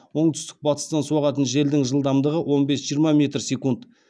оңтүстік батыстан соғатын желдің жылдамдығы он бес жиырма метр секунд